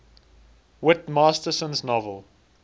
whit masterson's novel